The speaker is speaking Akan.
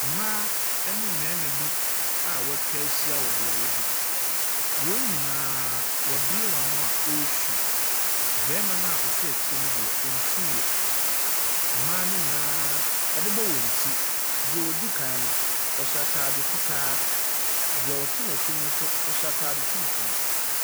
Mmaa ne mmarima bi a wɔatwa ahyia wɔ beaeɛ bi. Wɔn nyinaaaa wɔabie wɔn ani a wɔre su. Barimano a ɔte akyire no deɛ, ɔnsuiɛ. Mmaa no nyinaa, wɔabobɔ wɔn ti. Deɛ di kan no, ɔhyɛ ataade fitaa Deɛ ɔte ne n'akyi no nso, ɔhyɛ atade tuntum.